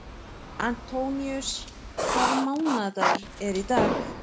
Antoníus, hvaða mánaðardagur er í dag?